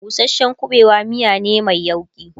busashen ƙuɓewa miya ne Mai yauƙi